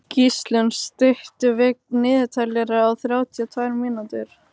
Gíslunn, stilltu niðurteljara á þrjátíu og tvær mínútur.